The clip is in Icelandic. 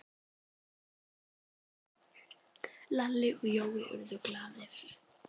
Lalli og Jói urðu glaðir.